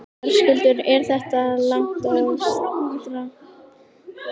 Höskuldur: Er þetta langt og strangt nám?